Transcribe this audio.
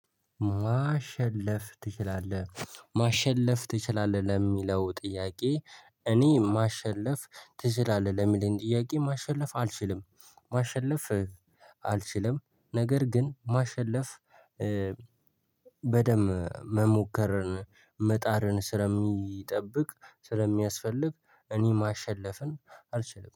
ማሸለፍ ትችላለህ ማሸለፍ ትችላለህ ለሚለው ጥያቄ? እኔ ማሸለፍ ትችላለህ ለሚለኝ ጥያቄ ማሸለፍ አልችልም። ማሸለፍ አልችልም ነገር ግን ማሸለፍ። በደንብ መሞከርን መጣርን ስለሚጠብቅ ስለሚያስፈልግ እኔ ማሸለፍን አልችልም